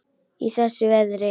Í þessu veðri?